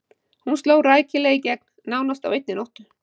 Hún sló rækilega í gegn, nánast á einni nóttu.